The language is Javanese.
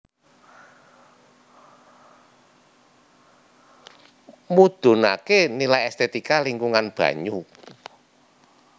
Mudhunaké nilai estetika lingkungan banyu